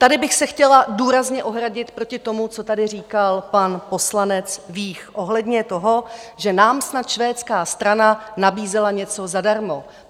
Tady bych se chtěla důrazně ohradit proti tomu, co tady říkal pan poslanec Vích ohledně toho, že nám snad švédská strana nabízela něco zadarmo.